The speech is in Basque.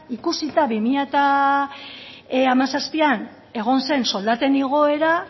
ikusita bi mila hamazazpian egon zen soldatzen igoera